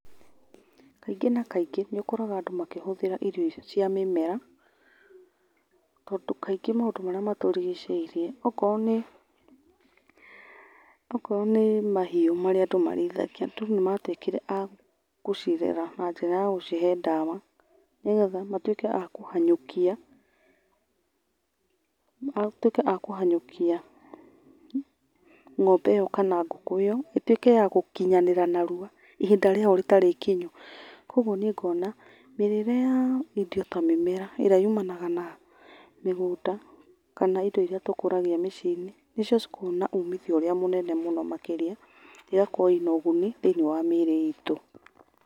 Kaingĩ na kaingĩ nĩ ũkoraga andũ makĩhũthĩra irio cia mĩmera, tondũ kaingĩ maũndũ marĩa matũrigicĩirie, okorwo nĩ, okorwo nĩ mahiũ arĩa andũ marĩithagia, andũ nĩ matuĩkire a gũcirera na njĩra ya gũcihe ndawa, nĩgetha matuĩke a kũhanyũkia, atuĩke a kũhanyũkia ng'ombe ĩyo kana ngũkũ ĩyo, ĩtuĩke ya gũkinyanĩra narua ihinda rĩayo rĩtarĩ ikinyu. Koguo niĩ ngona mĩrĩre ya indo ta mĩmera, ĩrĩa yumanaga na mĩgũnda, kana indo iria tũkũragia mĩciĩ-inĩ, nĩcio cikoragwo na umithio ũrĩa mũnene makĩria, na igakorwo inoguni thĩiniĩ wa mĩrĩ itũ.